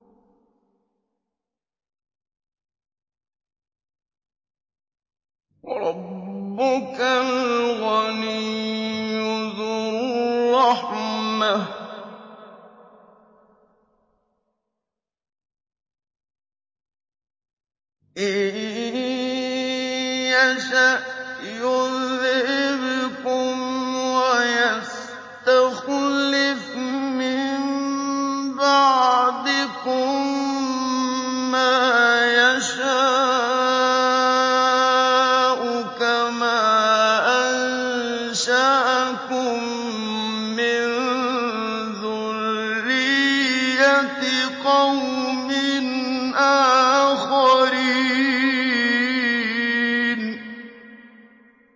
وَرَبُّكَ الْغَنِيُّ ذُو الرَّحْمَةِ ۚ إِن يَشَأْ يُذْهِبْكُمْ وَيَسْتَخْلِفْ مِن بَعْدِكُم مَّا يَشَاءُ كَمَا أَنشَأَكُم مِّن ذُرِّيَّةِ قَوْمٍ آخَرِينَ